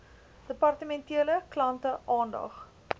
departementele klante aandag